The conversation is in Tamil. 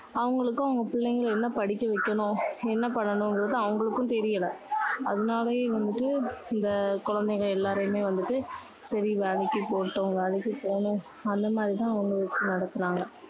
அவங்களுக்கும் அவங்க பிள்ளைங்களை என்ன படிக்க வைக்கணும், என்ன பண்ணனுங்குறது அவங்களுக்கும் தெரியலை. அதனாலயே வந்து இந்த குழந்தைங்க எல்லாரையுமே வந்துட்டு சரி வேலைக்கு போகட்டும். வேலைக்கு போகணும், அந்த மாதிரி தான் அவங்க நடத்துனாங்க.